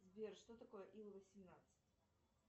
сбер что такое ил восемнадцать